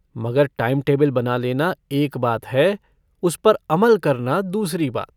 मगर time table बना लेना एक बात है उस पर अमल करना दूसरी बात।